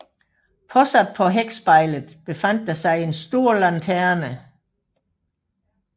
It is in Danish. Påsat på hækspejlet befandt der sig en stor lanterne